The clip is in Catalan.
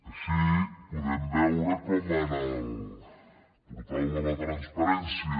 així podem veure com en el portal de la transparència